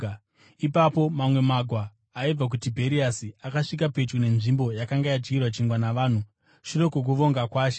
Ipapo mamwe magwa aibva kuTibheriasi akasvika pedyo nenzvimbo yakanga yadyirwa chingwa navanhu shure kwokuvonga kwaShe.